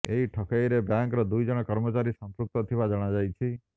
ଏହି ଠକେଇରେ ବ୍ୟାଙ୍କର ଦୁଇଜଣ କର୍ମଚାରୀ ସଂପୃକ୍ତ ଥିବା ଜଣାଯାଇଛି